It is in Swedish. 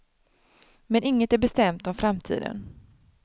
Men inget är bestämt om framtiden.